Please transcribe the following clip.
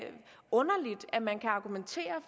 underligt at man kan argumentere